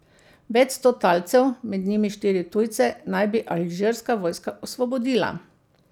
Več sto talcev, med njimi štiri tujce, naj bi alžirska vojska osvobodila.